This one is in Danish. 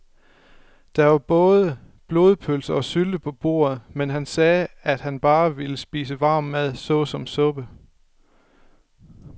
Der var både blodpølse og sylte på bordet, men han sagde, at han bare ville spise varm mad såsom suppe.